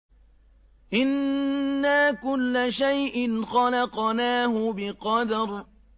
إِنَّا كُلَّ شَيْءٍ خَلَقْنَاهُ بِقَدَرٍ